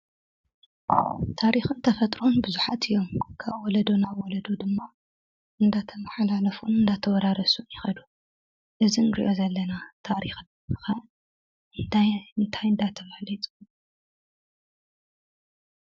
ታሪክን ተፈጥሮን ቡዙሓት እዮም፡፡ ካብ ወለዶ ናብ ወለዶ ድማ እንዳተመሓላለፉን እንዳተወራረሱን ይከዱ፡፡ እዚ እንሪኦ ዘለና ታሪክ ኸ እንታይ እንታይ እናተባህለ ይፅዋዕ?